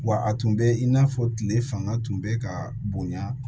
Wa a tun bɛ i n'a fɔ tile fanga tun bɛ ka bonya